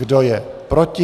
Kdo je proti?